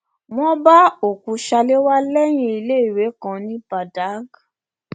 wọn bá òkú salewa lẹyìn iléèwé kan ní badág